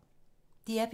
DR P3